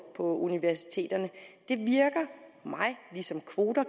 universiteterne ligesom kvoter